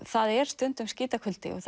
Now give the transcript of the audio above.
það er stundum skítakuldi og